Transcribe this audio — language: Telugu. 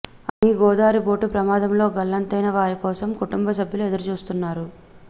అని గోదారి బోటు ప్రమాదంలో గల్లంతైన వారి కోసం కుటుంబసభ్యులు ఎదురుచూస్తున్నారు